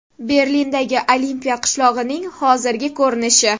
Berlindagi olimpiya qishlog‘ining hozirgi ko‘rinishi.